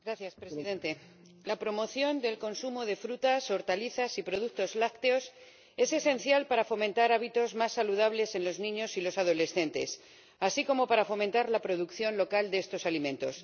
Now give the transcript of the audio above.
Señor Presidente, la promoción del consumo de frutas, hortalizas y productos lácteos es esencial para fomentar hábitos más saludables en los niños y los adolescentes, así como para fomentar la producción local de estos alimentos.